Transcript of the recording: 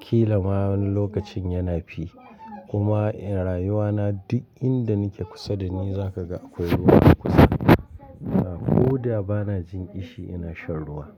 Kila ma wani lokacin yana fi. Kuma a rayuwa na duk inda nike kusa da ni zaka ga akwai ruwa a kusa. Ko da bana jin ƙishi ina shan ruwa.